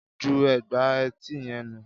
Ju ègbà etí yẹn nù